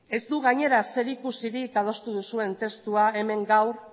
ez du gainera zerikusirik adostu duzuen testua hemen gaur